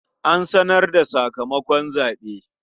An sanar da sakamakon zaɓe.